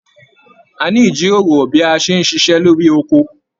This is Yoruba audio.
A ní ijíròrò bí a ṣe n ṣiṣẹ lórí oko.